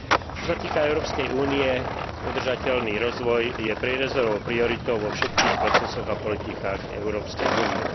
Čo sa týka Európskej únie, udržateľný rozvoj je prierezovou prioritou vo všetkých procesoch a politikách Európskej únie.